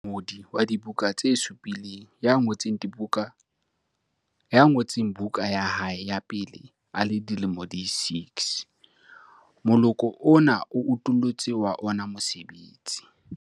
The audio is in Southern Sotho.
Enwa ke mongodi wa dibuka tse supileng ya ngotseng buka ya hae ya pele a le dilemo di 6. Moloko ona o utollotse wa ona mosebetsi.